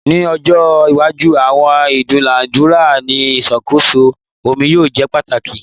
Ni ojo iwaju awọn idunadura ni iṣakoso omi yoo jẹ pataki